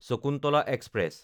Shakuntala express